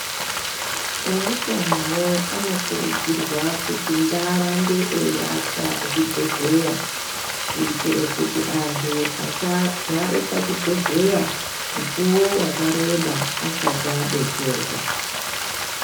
Eutanowo anokurudzirwa kuti ngaarambe eiaka zvibhedhleya, kuitire kuti antu asagare pachibhedhleya mukuwo wakareba asati abetserwa.